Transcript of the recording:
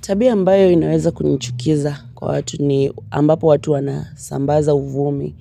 Tabia ambayo inaweza kunichukiza kwa watu ni ambapo watu wanasambaza uvumi